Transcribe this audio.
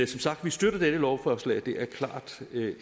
sagt støtter vi dette lovforslag det er klart